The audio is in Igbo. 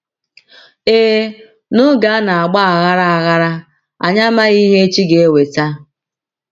Ee, n’oge a na - agba aghara, aghara, anyị amaghị ihe echi ga - eweta.